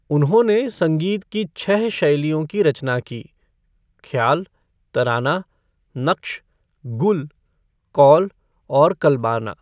उन्होंने संगीत की छह शैलियों की रचना की ख्याल, तराना, नक्श, गुल, कौल और कल्बाना।